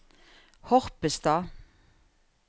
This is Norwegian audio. Horpestad